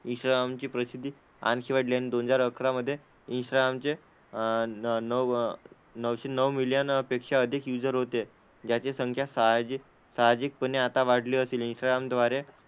इंस्टाग्रामची प्रसिद्धी आणखी वाढली. आणि दोन हजार अकरा मध्ये इंस्टाग्राम चे अह नऊ नऊशे नऊ मिलियनपेक्षा अधिक यूजर होते, ज्यांची संख्या साहजिक साहजिकपणे आता वाढली असेलही. इंस्टाग्राम द्वारे,